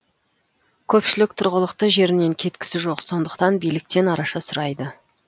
көпшілік тұрғылықты жерінен кеткісі жоқ сондықтан биліктен араша сұрайды